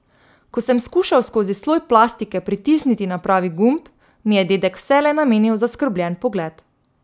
Ko sem skušal skozi sloj plastike pritisniti na pravi gumb, mi je dedek vselej namenil zaskrbljen pogled.